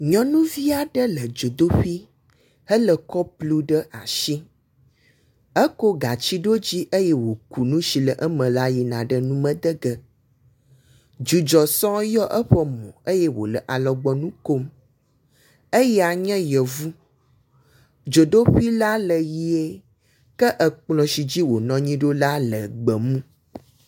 Nyɔnuvi aɖe le dzodoƒi hele kɔpu ɖe asi eko gati ɖo dzi eye woku nu si le eme la yi ɖe nume de ge. Dzudzɔ sɔ yɔ eƒe mo eye wo le alɔgbɔnu kom. Eya nye yevu dzodoƒi la le ʋi ke ekplɔ si dzi wonɔ anyi ɖo la le ʋie.